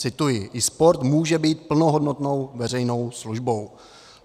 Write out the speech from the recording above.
Cituji: "I sport může být plnohodnotnou veřejnou službou."